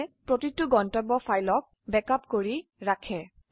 এই প্ৰতিটি গন্তব্য ফাইলৰ একটি ব্যাকআপ কৰি তোলে